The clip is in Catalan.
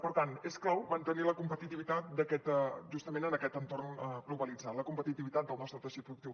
per tant és clau mantenir la competitivitat justament en aquest entorn globalitzat la competitivitat del nostre teixit productiu